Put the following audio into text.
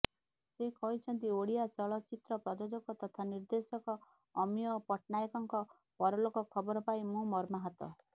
ସେ କହିଛନ୍ତି ଓଡ଼ିଆ ଚଳଚ୍ଚିତ୍ର ପ୍ରଯୋଜକ ତଥା ନିର୍ଦେଶକ ଅମିୟ ପଟ୍ଟନାୟକଙ୍କ ପରଲୋକ ଖବର ପାଇ ମୁଁ ମର୍ମାହତ